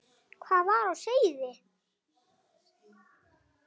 Hvað var á seyði?